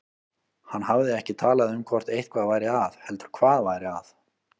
Hann hafði ekki talað um hvort eitthvað væri að heldur hvað væri að.